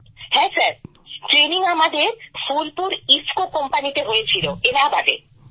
হ্যাঁ sir training আমাদের ফুলপুর ইফকো কোম্পানিতে হয়েছিল এলাহাবাদে